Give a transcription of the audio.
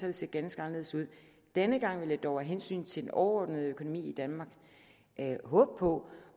det set ganske anderledes ud denne gang vil jeg dog af hensyn til den overordnede økonomi i danmark håbe på